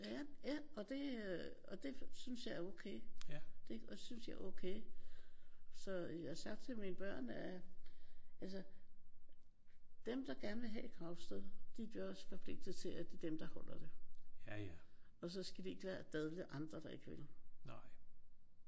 Ja. Ja og det øh og det synes jeg er okay. Det og synes jeg er okay. Så jeg har sagt til mine børn at altså dem der gerne vil have et gravsted de gør sig forpligtet til at det er dem der holder det og så skal de ikke dadle andre der ikke vil